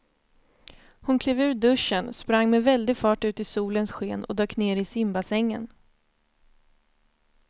Hon klev ur duschen, sprang med väldig fart ut i solens sken och dök ner i simbassängen.